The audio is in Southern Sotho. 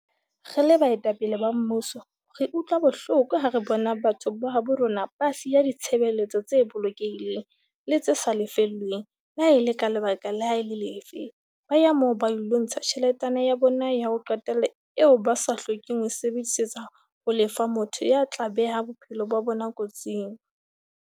"Re le baetapele ba mmuso re utlwa bohloko ha re bona batho ba habo rona ba siya ditshebeletso tse bolokehileng le tse sa lefellweng, le ha e le ka lebaka le ha e le lefe, ba ya moo ba ilo ntsha tjheletana ya bona ya ho qetela eo ba sa hlokeng ho e sebedisetsa ho lefa motho ya tla beha bophelo ba bona kotsing."